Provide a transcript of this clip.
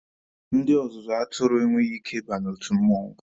Ndị ọzụzụ atụrụ enweghị ike ịba n'otu mmụọnwụ.